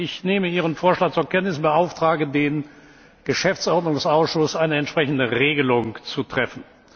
Ich nehme Ihren Vorschlag zur Kenntnis und beauftrage den Geschäftsordnungsausschuss, eine entsprechende Regelung zu treffen.